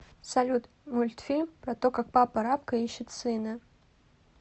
салют мультфильм про то как папа рабка ищет сына